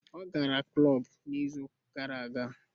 Ọ gara klọb n'izu gara aga